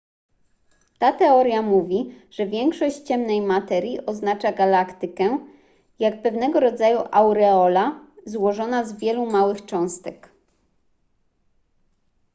ta teoria mówi że większość ciemnej materii otacza galaktykę jak pewnego rodzaju aureola złożona z wielu małych cząsteczek